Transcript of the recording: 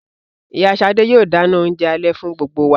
Ìyá sade yóò dáná oúnjẹ alẹ́ fún gbogbo wa.